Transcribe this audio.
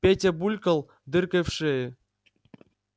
петя булькал дыркой в шее